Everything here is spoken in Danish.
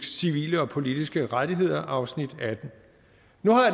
civile og politiske rettigheder afsnit attende nu